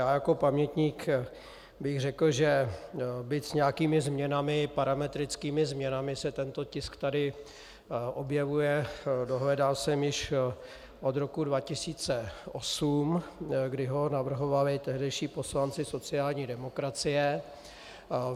Já jako pamětník bych řekl, že byť s nějakými změnami, parametrickými změnami, se tento tisk tady objevuje, dohledal jsem, již od roku 2008, kdy ho navrhovali tehdejší poslanci sociální demokracie.